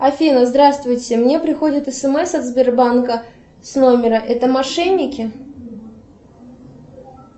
афина здравствуйте мне приходит смс от сбербанка с номера это мошенники